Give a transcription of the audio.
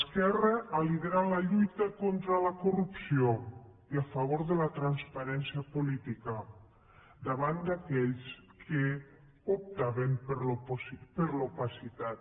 esquerra ha liderat la lluita contra la corrupció i a favor de la transparència política davant d’aquells que optaven per l’opacitat